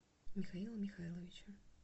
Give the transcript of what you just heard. михаила михайловича